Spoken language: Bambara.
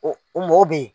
O mɔw be ye